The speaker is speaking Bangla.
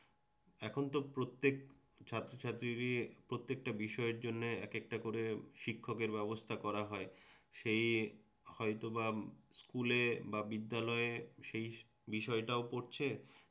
এখন তো প্রত্যেক ছাত্রছাত্রীরই প্রত্যেকটা বিষয়ের জন্যে একেকটা করে শিক্ষকের ব্যবস্থা করা হয় সে হয়তোবা স্কুলে বা বিদ্যালয়ে সেই বিষয়টাও পড়ছে